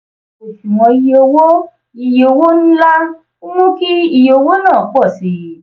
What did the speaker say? òṣùwọ̀n iye owó iye owó ńlá ń mú kí iye owó náà pọ̀ sí i.